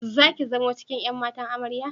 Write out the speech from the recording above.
Zaki zamo cikin ƴan matan Amarya?